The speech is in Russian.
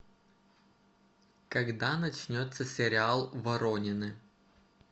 когда начнется сериал воронины